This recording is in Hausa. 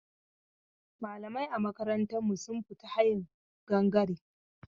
Malamai a makarantar mu sun fita ta hayin gangare.